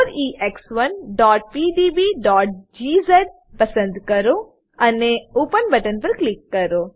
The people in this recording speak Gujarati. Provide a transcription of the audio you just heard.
4ex1pdbજીઝ પસંદ કરો અને ઓપન બટન પર ક્લિક કરો